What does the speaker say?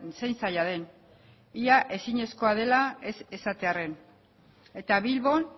zein zaila den ia ezinezkoa dela ez esatearren eta bilbon